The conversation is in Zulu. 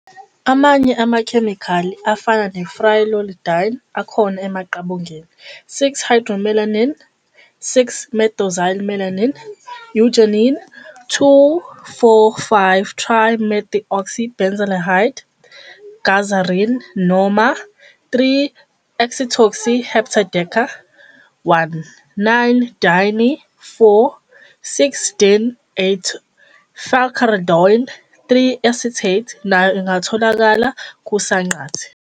Amanye amakhemikhali afana ne- pyrrolidine, akhona emaqabungeni. 6-hydroxymellein, 6-methoxymellein, eugenin, 2,4,5-trimethoxybenzaldehyde, gazarin, noma, Z, -3-acetoxy-heptadeca-1, 9-diene-4,6-diin-8-ol, falcarindiol 3-acetate, nayo ingatholakala kusanqante.